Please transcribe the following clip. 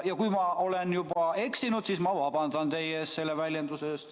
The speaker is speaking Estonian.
Ja kui ma olen eksinud, siis ma vabandan teie ees selle väljenduse eest.